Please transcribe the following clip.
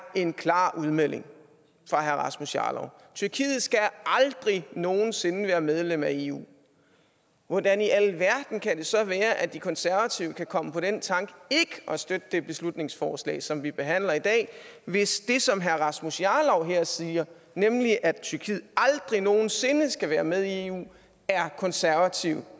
en klar udmelding fra herre rasmus jarlov tyrkiet skal aldrig nogen sinde være medlem af eu hvordan i alverden kan det så være at de konservative kan komme på den tanke ikke at støtte det beslutningsforslag som vi behandler i dag hvis det som herre rasmus jarlov her siger nemlig at tyrkiet aldrig nogen sinde skal være med i eu er konservativ